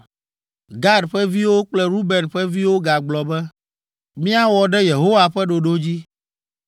Gad ƒe viwo kple Ruben ƒe viwo gagblɔ be, “Míawɔ ɖe Yehowa ƒe ɖoɖo dzi.